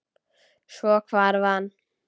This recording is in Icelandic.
Svo hvarf hann.